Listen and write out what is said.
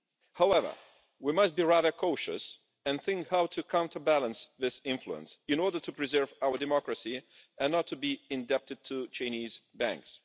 However, we must be rather cautious and think how to counter balance this influence in order to preserve our democracy and not to be indebted to Chinese banks.